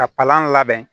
Ka palan labɛn